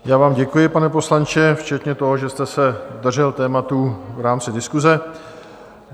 Já vám děkuji, pane poslanče, včetně toho, že jste se držel tématu v rámci diskuse.